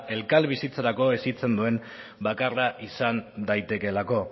elkarbizitzarako hezitzen duen bakarra izan daitekeelako